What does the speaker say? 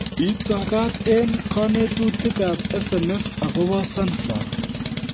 Itakaat eng kanetutikak SMS akobo sunflower